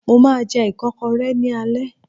Mo máa jẹ ìkọ́kọrẹ́ ní alẹ́